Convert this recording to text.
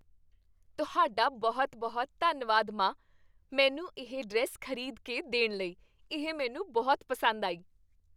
ਤੁਹਾਡਾ ਬਹੁਤ ਬਹੁਤ ਧੰਨਵਾਦ, ਮਾਂ! ਮੈਨੂੰ ਇਹ ਡਰੈੱਸ ਖ਼ਰੀਦ ਕੇ ਦੇਣ ਲਈ, ਇਹ ਮੈਨੂੰ ਬਹੁਤ ਪਸੰਦ ਆਈ